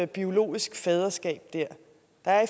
biologisk faderskab i